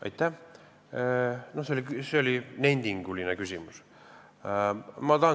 Aitäh!